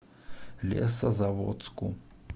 лесозаводску